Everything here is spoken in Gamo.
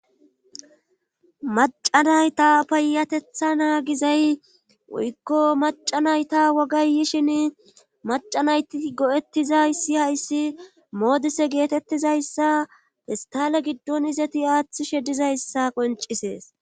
Macanayta payatetha naagizay woykko macanayta wogayyishin macanayti go7ettizayssi hayssi moodise geetettizayssa hestale giddon izeti aaththishe dizayssa qoncisees